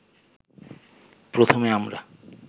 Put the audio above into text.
প্রথমে আমরা